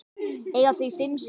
Eiga þau fimm syni.